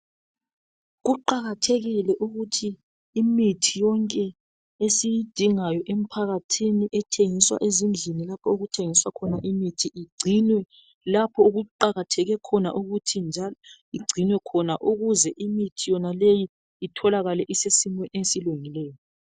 Kuqakathekile emphakathini ukuthi imithi yonke esiyidingayo igcinwe lapho okuthengiswa khona ezindlini ukuze itholakale isesimeni esihle.